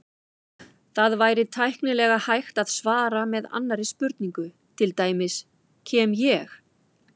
Það væri tæknilega hægt að svara með annarri spurningu, til dæmis: Kem ég?